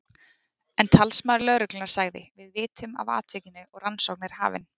En talsmaður lögreglunnar sagði: Við vitum af atvikinu og rannsókn er hafin.